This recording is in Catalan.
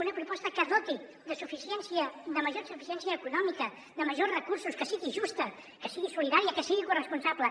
una proposta que doti de suficiència de major suficiència econòmica de majors recursos que sigui justa que sigui solidària que sigui corresponsable